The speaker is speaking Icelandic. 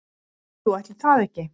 Jú, ætli það ekki